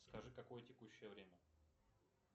скажи какое текущее время